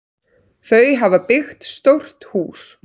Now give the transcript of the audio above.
Þau hafa byggt stórt hús.